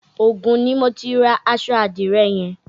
Ògùn ni mo ti ra aṣọ àdìrẹ yẹn.